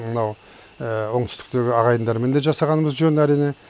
мынау оңтүстіктегі ағайындармен де жасағанымыз жөн әрине